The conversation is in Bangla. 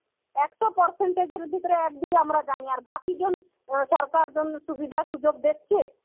একশ percent এর মধ্যে ভিতরে এক দুই আমরা জানি আর বাকি জন ইয়া সরকার জন্যে সুবিধা সুযোগ দেখছে.